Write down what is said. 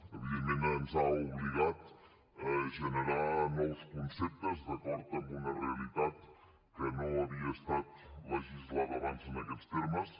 evidentment ens ha obligat a generar nous conceptes d’acord amb una realitat que no havia estat legislada abans en aquests termes